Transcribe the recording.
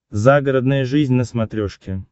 загородная жизнь на смотрешке